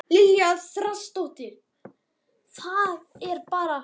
María Lilja Þrastardóttir: Það er bara allt búið?